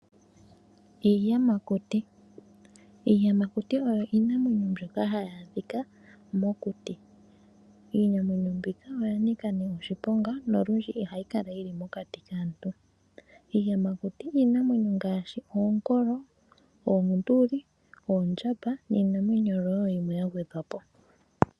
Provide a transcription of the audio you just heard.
Iiyamakuti, iiyamakuti oyo iinamwenyo mbyoka hayi adhika mokuti iinamwenyo mbika oya nika ne oshiponga nolundji ihayi kala yili mokati kaantu. Iiyamakuti iinamwenyo ngaashi onkolo, oonduli ,oondjamba niinamwenyo wo yimwe ya gwedhwapo.